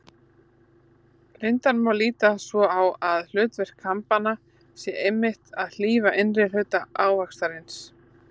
Reyndar má líta svo á að hlutverk kambanna sé einmitt að hlífa innri hluta ávaxtarins.